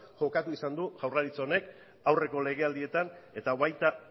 jokatu izan du jaurlaritzak honek aurreko legealdietan eta baita